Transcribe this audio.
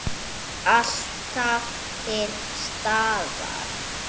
Alltaf til staðar.